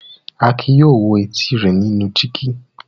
Akin yóò lọ wo etí rẹ̀ nínú dígí.